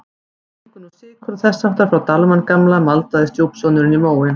Við fengum nú sykur og þess háttar frá Dalmann gamla maldaði stjúpsonurinn í móinn.